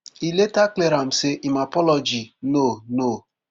e later clear am say im apology no no